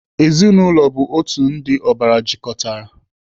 Ezinaụlọ bụ otu ndị ọbara jikọtara.